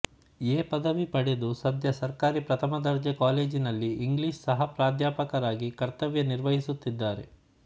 A ಪದವಿ ಪಡೆದು ಸದ್ಯ ಸರ್ಕಾರಿ ಪ್ರಥಮ ದರ್ಜೆ ಕಾಲೇಜಿನಲ್ಲಿ ಇಂಗ್ಲಿಷ್ ಸಹ ಪ್ರಾಧ್ಯಾಪಕಯಾಗಿ ಕರ್ತವ್ಯ ನಿರ್ವಹಿಸುತ್ತಿದ್ದಾರೆ